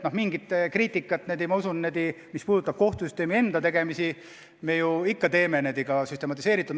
Ja mingit kriitikat, mis puudutab kohtusüsteemi enda tegemisi, me ju teeme lausa süstematiseeritult.